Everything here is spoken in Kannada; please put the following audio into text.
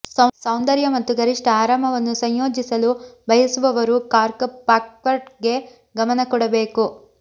ಸೌಂದರ್ಯ ಮತ್ತು ಗರಿಷ್ಠ ಆರಾಮವನ್ನು ಸಂಯೋಜಿಸಲು ಬಯಸುವವರು ಕಾರ್ಕ್ ಪಾರ್ಕ್ವೆಟ್ಗೆ ಗಮನ ಕೊಡಬೇಕು